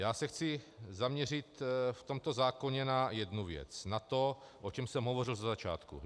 Já se chci zaměřit v tomto zákoně na jednu věc, na to, o čem jsem hovořil ze začátku.